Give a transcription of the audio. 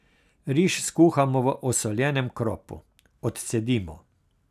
Riž skuhamo v osoljenem kropu, odcedimo.